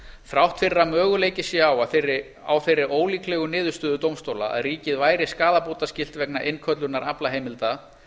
þrátt fyrir að möguleiki sé á þeirri ólíklegu niðurstöðu dómstóla að ríkið væri skaðabótaskylt vegna innköllunar aflaheimilda